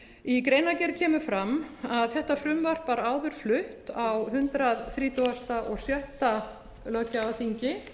í greinargerð kemur fram að þetta frumvarp var áður flutt á hundrað þrítugasta og sjötta löggjafarþingi